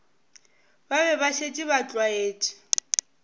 be ba šetše ba tlwaetše